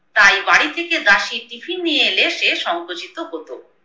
তাই বাড়ি থেকে দাসী টিফিন নিয়ে এলে সে সংকোচিত হতো।